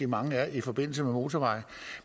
mange er i forbindelse med motorveje